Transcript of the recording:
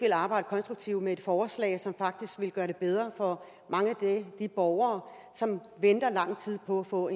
vil arbejde konstruktivt med et forslag som faktisk ville gøre det bedre for mange af de borgere som venter i lang tid på at få